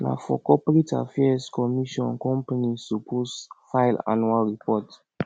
na for corporate affairs commission companies suppose file annual report